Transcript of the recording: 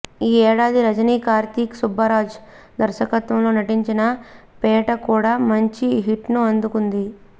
ఈ ఏడాది రజనీ కార్తీక్ సుబ్బరాజ్ దర్శకత్వంలో నటించిన పేట కూడా మంచి హిట్ను అందుకుంది